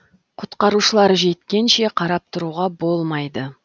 құтқарушылар жеткенше қарап тұруға болмайды